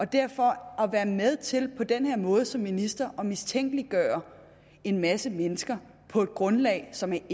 derfor at være med til på den her måde som minister at mistænkeliggøre en masse mennesker på et grundlag som